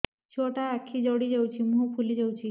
ଛୁଆଟା ଆଖି ଜଡ଼ି ଯାଉଛି ମୁହଁ ଫୁଲି ଯାଉଛି